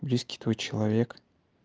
близкий твой человек